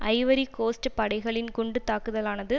Ivory Coast படைகளின் குண்டு தாக்குதலானது